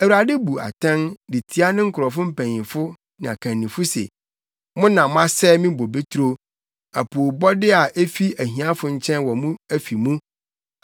Awurade bu atɛn de tia ne nkurɔfo mpanyimfo ne akannifo se, “Mo na moasɛe me bobeturo; apoobɔde a efi ahiafo nkyɛn wɔ mo afi mu.